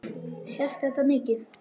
Sést þetta mikið?